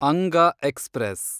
ಅಂಗ ಎಕ್ಸ್‌ಪ್ರೆಸ್